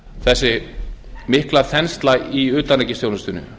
þessi mikla þensla í utanríkisþjónustunni